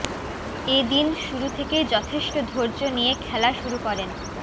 এ দিন শুরু থেকেই যথেষ্ট ধৈর্য নিয়ে খেলা শুরু করেন